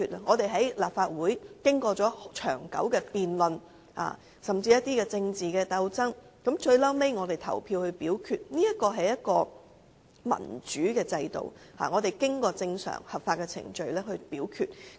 我們在立法會議事經過長久辯論，甚至經過政治鬥爭，最後投票表決，這是一個民主的制度，是正常合法的表決程序。